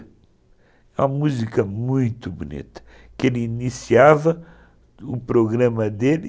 A música muito bonita, que ele iniciava o programa dele